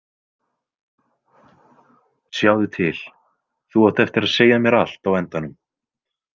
Sjáðu til, þú átt eftir að segja mér allt á endanum.